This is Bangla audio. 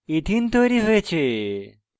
ethene ethene তৈরী হয়েছে